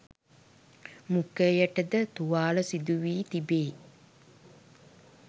මුඛයට ද තුවාල සිදු වී තිබේ